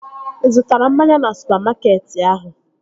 Ị zụtara mmanya na supamakeetị ahụ?